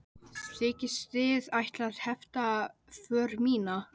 Þykist þið ætla að hefta för mína?